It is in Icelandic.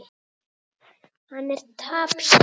Hann er tapsár.